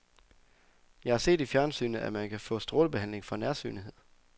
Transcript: Jeg har set i fjernsynet, at man kan få strålebehandling for nærsynethed.